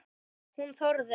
Hún þorði.